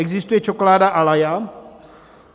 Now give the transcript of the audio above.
Existuje čokoláda Ajala.